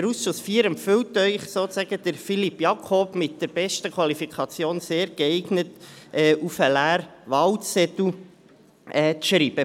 Der Ausschuss IV empfiehlt Ihnen also, Philippe Jakob mit der besten Qualifikation «sehr geeignet» auf den leeren Wahlzettel zu schreiben.